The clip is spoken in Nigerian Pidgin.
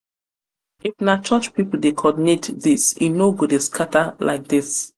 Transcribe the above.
na church people dey coordinate this e no go dey scatter like this.